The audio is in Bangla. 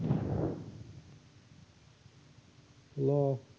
Hello